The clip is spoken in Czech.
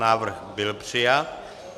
Návrh byl přijat.